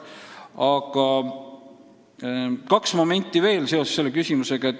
Aga kaks momenti veel seoses selle küsimusega.